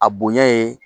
A bonya ye